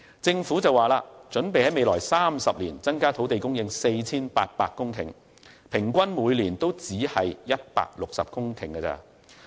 政府表示擬於未來30年增加土地供應 4,800 公頃，平均每年亦只是160公頃。